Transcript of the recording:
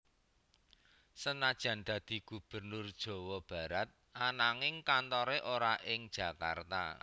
Senajan dadi Gubernur Jawa Barat ananging kantore ora ing Jakarta